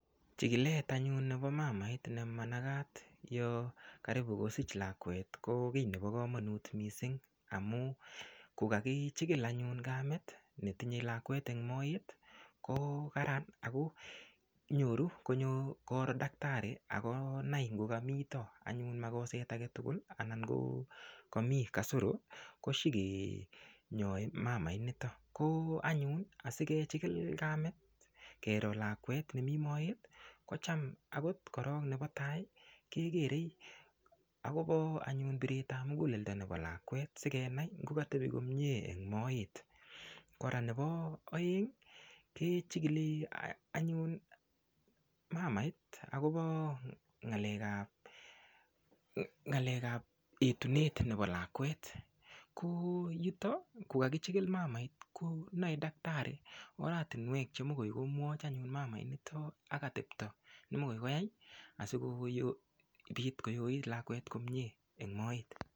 Chikilet anyun nepo mamait ne manakat yo karibu kosich lakwet ko kiy nepo komonut mising amu kokakichikil anyun kamet netinyei lakwet eng moet ko karan ako nyoru koro daktari akonai ngokamito anyun makoset aketugul anan ngokami kasoro koshikenyai mamait nito ko anyun asikechikil kamet kero lakwet nemi moet kocham akot korok nepo tai kekerei akopo anyun piret ap muguleldo nepo lakwet sikenai ngokatepi komie eng moet kora nepo oeng kechikili anyun mamait akopo ng'alek ap etunet nepo lakwet ko yuto kokakichikil mamait konoe daktari oratinwek chemokoi komwoch anyun mamait nito ak atepto nemokoi koyai asikopit koyoit lakwet komie eng moet.